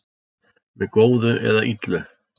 með góðu eða illu